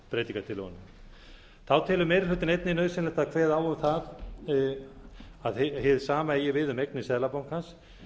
breytingartillögunum þá telur meiri hlutinn einnig nauðsynlegt að kveða á um að hið sama eigi við um eignir seðlabankans